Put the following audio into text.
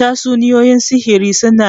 Tatsuniyoyin sihiri suna